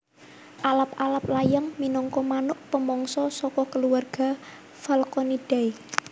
Alap alap layang minangka manuk pemangsa saka keluarga Falconidae